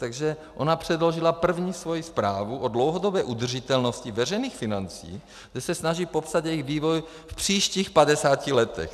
Takže ona předložila první svoji zprávu o dlouhodobé udržitelnosti veřejných financí, kde se snaží popsat jejich vývoj v příštích 50 letech.